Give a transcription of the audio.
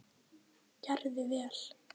Gerði vel.